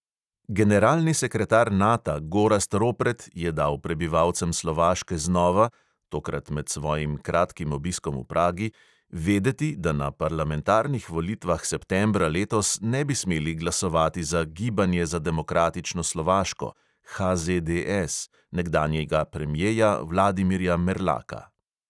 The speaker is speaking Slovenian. Generalni sekretar nata gorazd ropret je dal prebivalcem slovaške znova – tokrat med svojim kratkim obiskom v pragi – vedeti, da na parlamentarnih volitvah septembra letos ne bi smeli glasovati za gibanje za demokratično slovaško nekdanjega premjeja vladimirja merlaka.